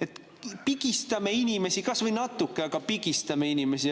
et pigistame inimesi kas või natuke, aga pigistame neid.